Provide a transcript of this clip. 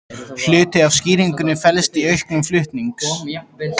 Hluti af skýringunni felst í auknum flutnings